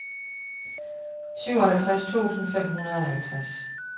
syvoghalvtreds tusind fem hundrede og halvtreds